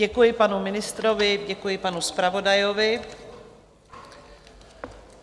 Děkuji panu ministrovi, děkuji panu zpravodaji.